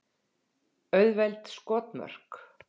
Auðveld skotmörk.